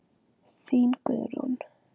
Þín, Guðrún.